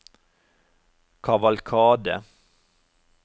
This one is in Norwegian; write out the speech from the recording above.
kavalkade